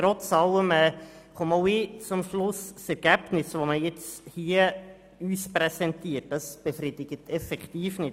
Trotz allem komme auch ich zum Schluss, dass das präsentierte Ergebnis nicht befriedigend ist.